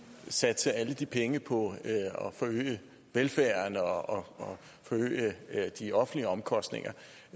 satse alle de penge på at forøge velfærden og de offentlige omkostninger